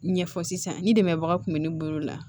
Ɲɛfɔ sisan ni dɛmɛbaga kun bɛ ne bolo yan